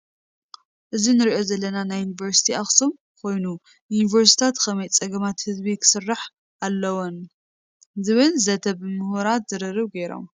እዚ ንሪኦ ዘለና ናይ ዪኒቨርሲት ኣክሱም ኮይኑ ዩኒቨርሲታት ክመይ ፀገማት ህዝቢ ክስርሓ ኣልወን ዝብል ዘት ብ ሙሁራት ዝርርብ ገይሮም ።